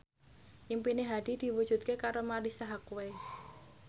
impine Hadi diwujudke karo Marisa Haque